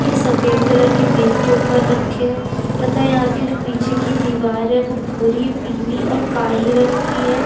ये सफेद कलर की मेज के ऊपर रखे है। तथा यहाँ पे जो पीछे की दिवार है वो भूरी पीली और काहे रंग की है।